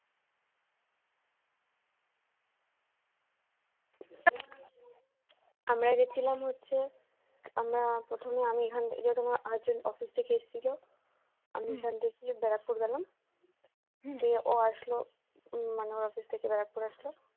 আমরা গেছিলাম হচ্ছে আমরা প্রথমে আমি এখান যেহেতু husband office থেকে এসেছিল আমি এখান থেকে ব্যারাকপুর গেলাম গিয়েও আসলো মানে ওর office থেকে ব্যারাকপুর আসলো